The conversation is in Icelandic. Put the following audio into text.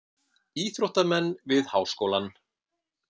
Íþróttamenn við Háskólann.